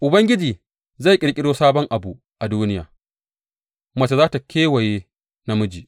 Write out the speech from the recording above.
Ubangiji zai ƙirƙiro sabon abu a duniya mace za tă kewaye namiji.